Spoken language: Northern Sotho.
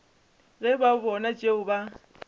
ge ba bona tšeo ba